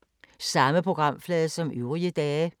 Samme programflade som øvrige dage